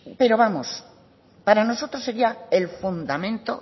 pero vamos para nosotros sería el fundamento